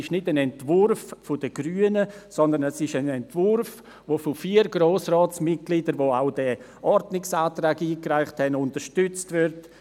Es ist kein Entwurf der Grünen, sondern ein Entwurf, der von vier Grossratsmitgliedern, die den Ordnungsantrag eingereicht haben, unterstützt wird: